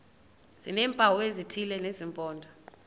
sineempawu ezithile zesimpondo